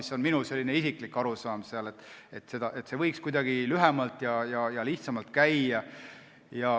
See on minu isiklik arusaam, et see võiks kuidagi lühemalt ja lihtsamalt käia.